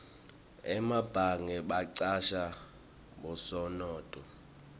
emabhange bacasha bosomnotfo